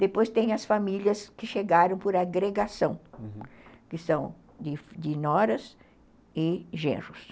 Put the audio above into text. Depois tem as famílias que chegaram por agregação, uhum, que são de noras e genros.